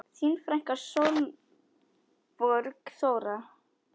Þín frænka Sólborg Þóra.